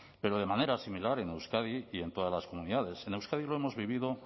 pero de manera similar en euskadi y en todas las comunidades en euskadi lo hemos vivido